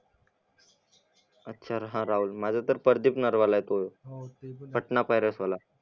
राहुल माझा तर परदीप नरवाला येतोय